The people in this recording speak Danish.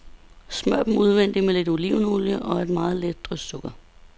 Smør dem udvendigt med lidt olivenolie og et meget let drys sukker.